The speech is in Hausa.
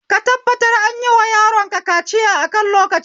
Ka tabbatar anyiwa yaronka kaciya akan lokaci